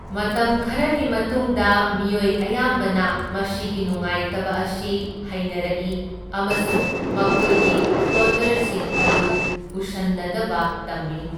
ꯃꯇꯝ ꯈꯔꯒꯤ ꯃꯇꯨꯡꯗ ꯃꯤꯑꯣꯏ ꯑꯌꯥꯝꯕꯅ ꯃꯁꯤꯒꯤ ꯅꯨꯡꯉꯥꯏꯇꯕ ꯑꯁꯤ ꯍꯩꯅꯔꯛꯏ ꯑꯃꯁꯨꯡ ꯃꯈꯣꯏꯒꯤ ꯐ꯭ꯂꯣꯇꯔꯁꯤꯡ ꯑꯗꯨ ꯎꯁꯟꯅꯗꯕ ꯇꯝꯏ꯫